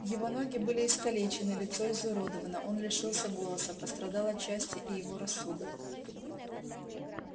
его ноги были искалечены лицо изуродовано он лишился голоса пострадал отчасти и его рассудок